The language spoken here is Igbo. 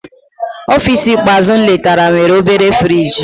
Ọfịs ikpeazụ m letara nwere obere friji.